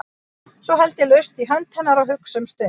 Svo held ég laust í hönd hennar og hugsa um stund.